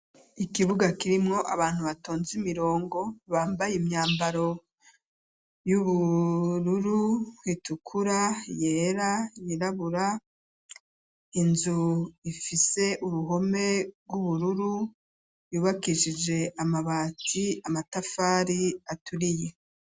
Ikibuga kirimwo abantu batonze imirongo bambaye imyambaro y'ubururu itukura yera yirabura inzu ifise uruhome rw'ubururu yubakishije amabati, amatafari aturiye.